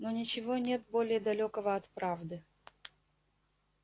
но ничего нет более далёкого от правды